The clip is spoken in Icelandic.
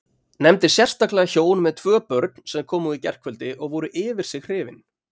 Nefndi sérstaklega hjón með tvö börn sem komu í gærkvöldi og voru yfir sig hrifin.